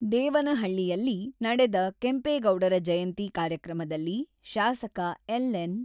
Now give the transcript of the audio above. ದೇವನಹಳ್ಳಿಯಲ್ಲಿ ನಡೆದ ಕೆಂಪೇಗೌಡರ ಜಯಂತಿ ಕಾರ್ಯಕ್ರಮದಲ್ಲಿ ಶಾಸಕ ಎಲ್.ಎನ್.